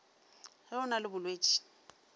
ge o na le bolwetši